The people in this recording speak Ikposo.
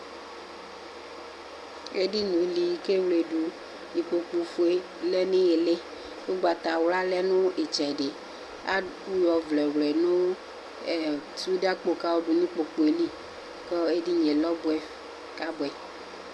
Edinie bi kʋ ewledʋ ikpokʋ fue lɛnʋ iyili ugbatawla lɛnʋ itsɛdi adʋ ɔvlɛ nʋ sude kpokʋ eli kʋ edinie lɛ ɔbɛ kʋ abʋɛ